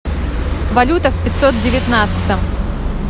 валюта в пятьсот девятнадцатом